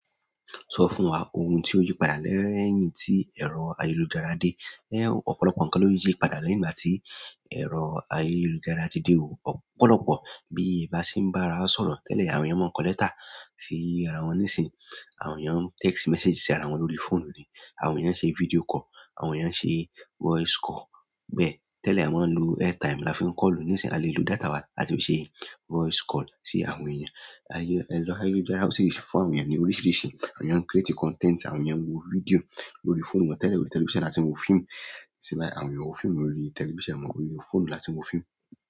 Sọ fún wa ohun tí ó yí padà lẹ́yìn tí ẹ̀rọ ayélujára dé. Ọ̀pọ̀lọpọ̀ ǹkan ni ó yípadà lẹ̀yìn ìgbà tí ẹ̀rọ ayélujára dé. Ọ̀pọ̀lọpọ̀. Bí e ba sí ń bá ara sọ̀rọ̀ tẹ́lẹ̀ àwọn èèyàn máa ń kọ lẹ́tà sí ara wọn. Nísìnyí àwọn èèyàn ń text message sí ara wọn lórí fóònù ni. Àwọn èèyàn ṣe video call, àwọn èèyàn ṣe voice call. Bẹ́ẹ̀ tẹ́lẹ̀ a máa ń lo airtime la fi ń call lo. Nísìínyi a lè lo data wa láti ṣe voice call sí àwọn èèyàn. Ẹ̀rọ ayélujára sì fún àwọn èèyàn ní oríṣiríṣi, àwọn èèyàn ń create content, àwọn èèyàn ń wo video lórí fóònù wọn. Tẹ́lẹ̀ ni television láti ń wo fíìmù, ṣùgbọ́n àwọn èèyàn ń wo fíìmù lórí television, orí fóònù láti wo fíìmù.